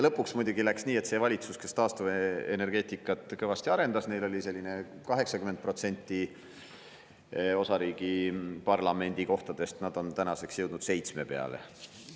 Lõpuks muidugi läks nii, et neil valitsuse, kes taastuvenergeetikat kõvasti arendasid, oli enne umbes 80% osariigi parlamendikohtadest, aga tänaseks on jõudnud 7% peale.